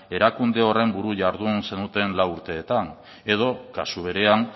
erakunde horren buru jardun zenuten lau urteetan edo kasu berean